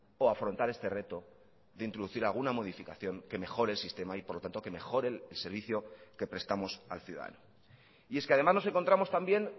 o afrontar este reto de introducir alguna modificación que mejore el sistema y por lo tanto que mejore el servicio que prestamos al ciudadano y es que además nos encontramos también